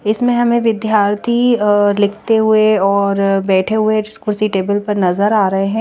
इसमें हमे विद्यार्थी अः लिखते हुए और बैठे हुए कुर्सी टेबल पर नज़र आरहे है।